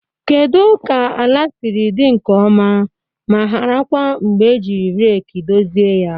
Kedu ka ala siri dị nke ọma ma hara kwa mgbe ejiri reeki dozie ya?